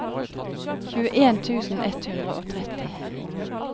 tjueen tusen ett hundre og tretti